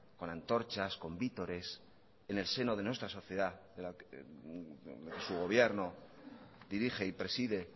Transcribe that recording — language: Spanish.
con antorchas con vítores en el seno de nuestra sociedad que su gobierno dirige y preside